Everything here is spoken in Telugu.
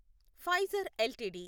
Pfizer LTD